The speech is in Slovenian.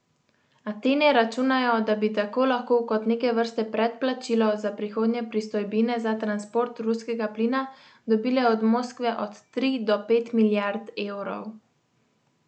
Atene računajo, da bi tako lahko kot neke vrste predplačilo za prihodnje pristojbine za transport ruskega plina dobile od Moskve od tri do pet milijard evrov.